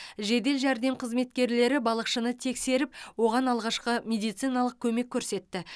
жедел жәрдем қызметкерлері балықшыны тексеріп оған алғашқы медициналық көмек көрсетті